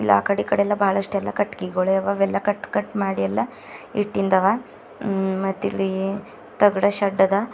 ಆ ಕಡೆ ಈ ಕಡೆ ಎಲ್ಲ ಬಾಳಷ್ಟು ಕಟ್ಟಿಗಿಗೋಳೆ ಅವ ಅವೆಲ್ಲ ಕಟ್ ಕಟ್ ಮಾಡಿ ಇಸ್ಟಿಂದವ ಮತ್ತಿಲ್ಲಿ ತಗಡಿಂದು ಸೆಡ್ ಅವ.